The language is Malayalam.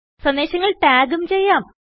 സന്ദേശങ്ങൾ ടാഗും ചെയ്യാം